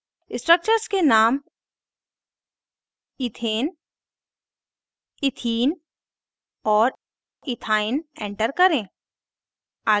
structures के names ethene ethane ethane ethene और ethyne ethyne enter करें